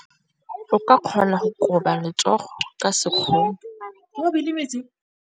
O ka kgona go koba letsogo ka sekgono.